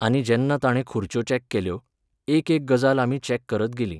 आनी जेन्ना ताणें खुर्च्यो चॅक केल्यो, एक एक गजाल आमी चॅक करत गेलीं.